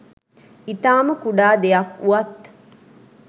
ඉතාම කුඩා දෙයක් වුවත්